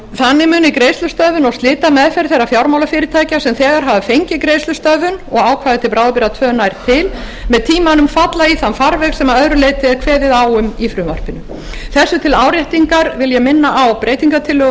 þannig muni greiðslustöðvun og slitameðferð þeirra fjármálafyrirtækja sem þegar hafa fengið greiðslustöðvun og ákvæði til bráðabirgða tvö nær til með tímanum falla í þann farveg sem að öðru leyti er kveðið á um í frumvarpinu þessu til áréttingar vil ég minna á breytingartillögu